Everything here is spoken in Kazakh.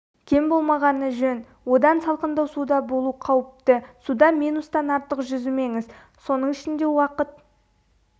кем болмағаны жөн одан салқындау суда болу қауіпті суда минуттан артық жүзімеңіз соның ішінде уақыт